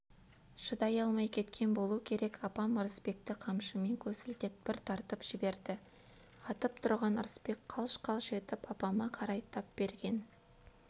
шыдай алмай кеткен болу керек апам ырысбекті қамшымен көсілте бір тартып жіберді атып тұрған ырысбек қалш-қалш етіп апама қарай тап берген